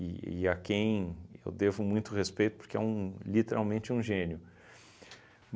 e a quem eu devo muito respeito porque é literalmente um gênio.